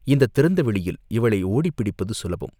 இந்தத் திறந்த வெளியில் இவளை ஓடிப் பிடிப்பது சுலபம்.